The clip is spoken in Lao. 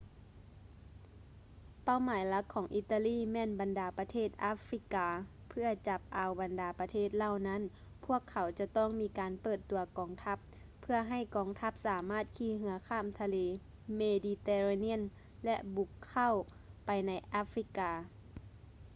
ເປົ້າໝາຍຫຼັກຂອງອີຕາລີແມ່ນບັນດາປະເທດອາຟຣິກາ ເພື່ອຈັບເອົາບັນດາປະເທດເຫຼົ່ານັ້ນ ພວກເຂົາຈະຕ້ອງມີການເປີດຕົວກອງທັບ ເພື່ອໃຫ້ກອງທັບສາມາດຂີ່ເຮືອຂ້າມທະເລເມດີເຕເຣນຽນ ແລະ ບຸກເຂົ້າໄປໃນອາຟຣິກາ